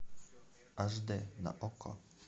аш дэ на окко